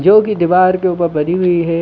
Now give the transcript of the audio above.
जो की दिवार के उपर बनी हुई है।